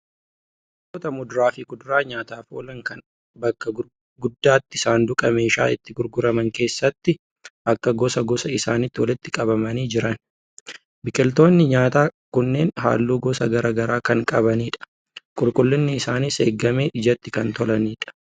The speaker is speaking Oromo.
Gosoota muduraa fi kuduraa nyaataaf oolan kan bakka gurgutaatti sanduuqa meeshaa itti gurguramanii keessatti akka gosa gosa isaaniitti walitti qabamanii jiran. Biqiltoonni nyaataa kunneen halluu gosa garaa garaa kan qabanidha. Qulqullinni isaaniis eegamee ijatti kan tolanidha.